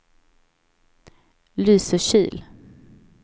Lysekil